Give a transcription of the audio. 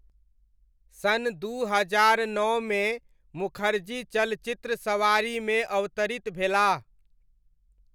सन् दू हजार नओमे मुखर्जी चलचित्र सवारीमे अवतरित भेलाह।